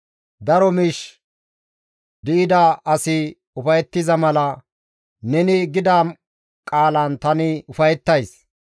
Daro miish di7ida asi ufayettiza mala neni gida qaalan tani ufayettays.